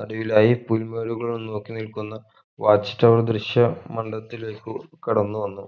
നടുവിലായി പുൽമേടുകൾ വന്ന് നോക്കിനിൽക്കുന്ന watch tower ദൃശ്യ മണ്ഡവത്തിലേക്ക് കടന്നുവന്നു